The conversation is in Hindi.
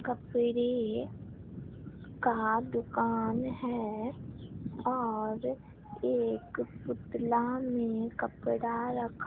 कपड़े का दुकान है और एक पुतला में कपड़ा रखा--